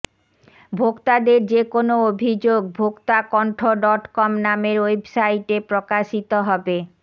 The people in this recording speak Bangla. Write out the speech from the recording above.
ভোক্তাদের যে কোনও অভিযোগ ভোক্তাকণ্ঠডটকম নামের ওয়েবসাইটে প্রকাশিত হবে